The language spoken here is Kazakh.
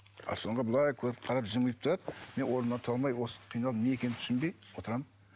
аспанға былай көріп қарап жымиып тұрады мен орнымнан тұра алмай осы қиналып не екенін түсінбей отырамын